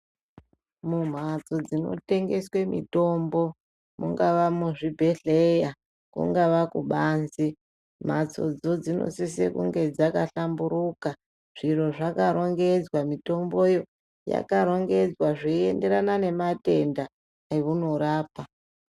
Mumhatso dzino tengeswe mitombo mungava muzvibhehleya kungava kubanze mhatsodzo dzino sise kunge dzaka hlamburuka zviro zvakarongedzwa mitomboyo yakarongedzwa zvinoenderana nematenda eunorapa.